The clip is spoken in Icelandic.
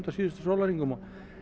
síðustu sólarhringum